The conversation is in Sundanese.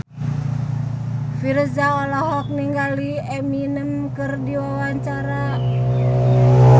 Virzha olohok ningali Eminem keur diwawancara